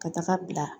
Ka taga bila